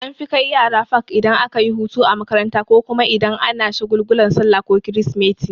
An fi kai yara fak idan akayi hutu a makaranta ko kuma idan ana shagulgulan sallah ko krismeti.